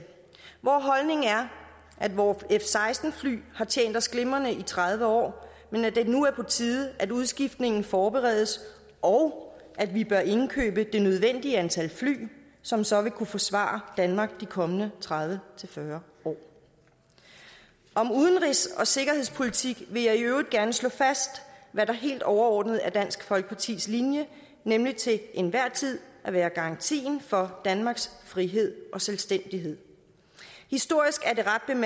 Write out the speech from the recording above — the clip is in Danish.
vor holdning er at vore f seksten fly har tjent os glimrende i tredive år men at det nu er på tide at udskiftningen forberedes og at vi bør indkøbe det nødvendige antal fly som så vil kunne forsvare danmark de kommende tredive til fyrre år om udenrigs og sikkerhedspolitik vil jeg i øvrigt gerne slå fast hvad der helt overordnet er dansk folkepartis linje nemlig til enhver tid at være garantien for danmarks frihed og selvstændighed historisk